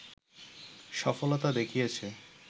সফলতা দেখিয়েছে